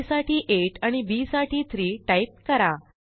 आ साठी 8 आणि बी साठी 3 टाईप करा